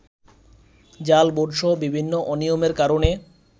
জাল ভোটসহ বিভিন্ন অনিয়মের কারণে